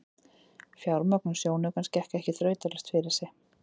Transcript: Fjármögnun sjónaukans gekk ekki þrautalaust fyrir sig.